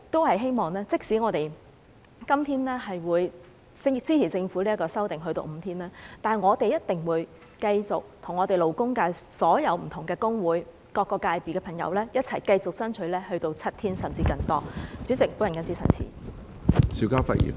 不過，即使我們今天支持政府把侍產假日數修訂至5天，我們定會與勞工界所有不同工會和各個界別的朋友一起繼續爭取7天甚至更多的侍產假。